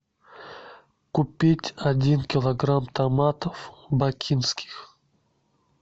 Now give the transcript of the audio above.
купить один килограмм томатов бакинских